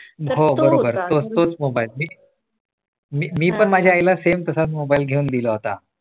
हो बरोबर तोच तोच मोबाईल मी पण माझ्या आईला same तसाच मोबाईल घेऊन दिला होता.